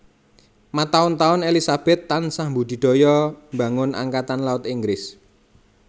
Mataun taun Elizabeth tansah mbudidaya mbangun Angkatan Laut Inggris